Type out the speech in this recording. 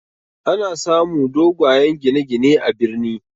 Ana samu dogayen gine gine ne a birni